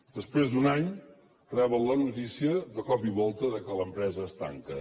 després d’un any reben la notícia de cop i volta que l’empresa es tanca